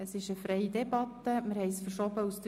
Wir führen eine freie Debatte.